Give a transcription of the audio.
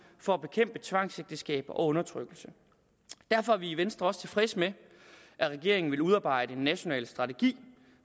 for at bekæmpe tvangsægteskaber og undertrykkelse derfor er vi i venstre også tilfredse med at regeringen vil udarbejde en national strategi